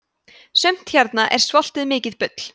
sumt hérna er svoltið mikið bull